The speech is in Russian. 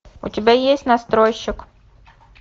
у тебя есть настройщик